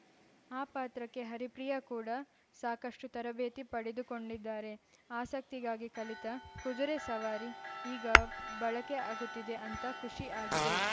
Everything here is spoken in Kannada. ಆ ಪಾತ್ರಕ್ಕೆ ಹರಿಪ್ರಿಯಾ ಕೂಡ ಸಾಕಷ್ಟುತರಬೇತಿ ಪಡೆದುಕೊಂಡಿದ್ದಾರೆ ಆಸಕ್ತಿಗಾಗಿ ಕಲಿತ ಕುದುರೆ ಸವಾರಿ ಈಗ ಬಳಕೆ ಆಗುತ್ತಿದೆ ಅಂತ ಖುಷಿ ಆಗಿದೆ